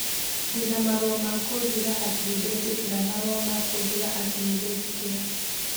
Ndĩna marũa ma kũnjĩra atĩ nĩ ndetĩkĩra marũa ma kũnjĩra atĩ nĩ ndetĩkĩra.